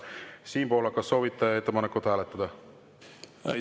Siim Pohlak, kas soovite ettepanekut hääletada?